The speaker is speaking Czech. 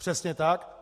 Přesně tak.